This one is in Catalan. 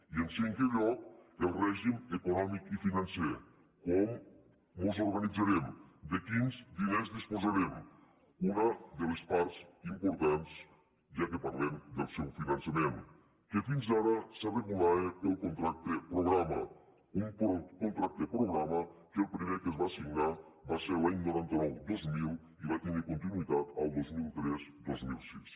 i en cinquè lloc el règim econòmic i financer com mos organitzarem de quins diners disposarem una de les parts importants ja que parlem del seu finançament que fins ara es regulava pel contracte programa un contracte programa que el primer que es va signar va ser l’any nou cents i noranta dos mil i va tindre continuïtat al dos mil tres dos mil sis